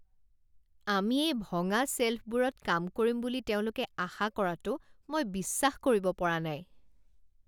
আমি এই ভঙা শ্বেল্ফবোৰত কাম কৰিম বুলি তেওঁলোকে আশা কৰাটো মই বিশ্বাস কৰিব পৰা নাই।